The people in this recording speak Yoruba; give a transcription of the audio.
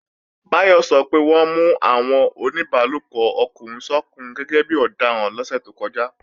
Báyọ̀ sọ pé wọ́n mú àwọn oníbálòpọ̀ ọkùnrin sọ́kùnrin gẹ́gẹ́bí ọdaràn lọ́sẹ̀ tó kọjá